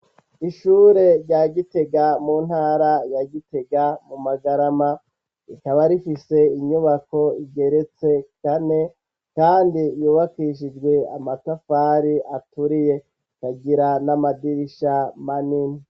Ishure rya Gitega mu ntara ya Gitega mu Magarama rikaba rifise inyubako igeretse kane kandi yubakishijwe amatafari aturiye ikagira n'amadirisha manini.